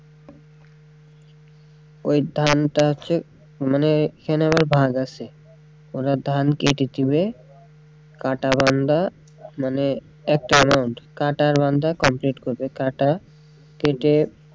ওই ধানটা হচ্ছে এখানে আবার ভাগ আছে ওরা ধান কেটে দিবে কাটা বান্দা, মানে মানে কাটা বান্দা complete করবে কাটা, কেটে,